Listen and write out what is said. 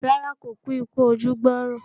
Rárá, kò kú ikú ojú gbọ̀rọ̀